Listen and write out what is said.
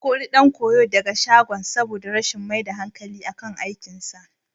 An kori ɗan koyon daga shagon saboda rashin mai da hankali akan aikinsa.